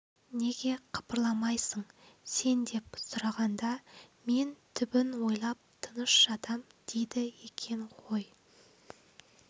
неге қыбырламайсың сен деп сұрағанда мен түбін ойлап тыныш жатам дейді екен ғой